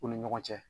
U ni ɲɔgɔn cɛ